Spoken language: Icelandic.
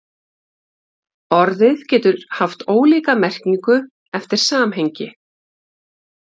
Orðið getur haft ólíka merkingu eftir samhengi.